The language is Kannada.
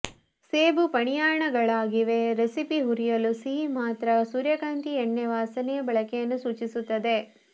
ಸೇಬು ಪನಿಯಾಣಗಳಾಗಿವೆ ರೆಸಿಪಿ ಹುರಿಯಲು ಸಿಹಿ ಮಾತ್ರ ಸೂರ್ಯಕಾಂತಿ ಎಣ್ಣೆ ವಾಸನೆಯ ಬಳಕೆಯನ್ನು ಸೂಚಿಸುತ್ತದೆ